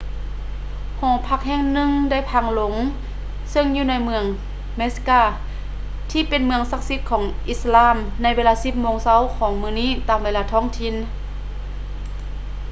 ຫໍພັກແຫ່ງໜຶ່ງໄດ້ພັງລົງເຊິ່ງຢູ່ໃນເມືອງ mecca ທີ່ເປັນເມືອງສັກສິດຂອງອິດສະລາມໃນເວລາປະມານ 10 ໂມງເຊົ້າຂອງມື້ນີ້ຕາມເວລາທ້ອງຖິ່ນ